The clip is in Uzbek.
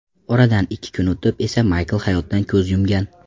Oradan ikki kun o‘tib esa Maykl hayotdan ko‘z yumgan.